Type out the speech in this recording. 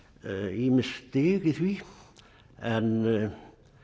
ýmis stig í því en